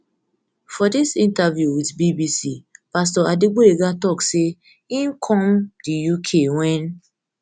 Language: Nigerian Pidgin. for dis interview wit bbc pastor adegboyega tok say im um come um di uk wen